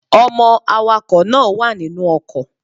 Ọmọ awakọ̀ náà wà nínú ọkọ̀.